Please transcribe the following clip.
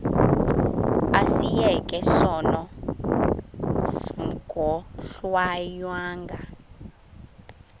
asiyeke sono smgohlwaywanga